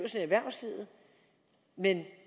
erhvervslivet